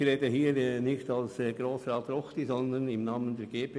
Ich rede hier nicht als Grossrat Ruchti, sondern im Namen der GPK.